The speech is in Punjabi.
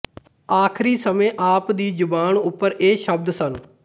ਆਖਰੀ ਸਮੇਂ ਆਪ ਦੀ ਜੁਬਨ ਉੱਪਰ ਇਹ ਸ਼ਬਦ ਸਨ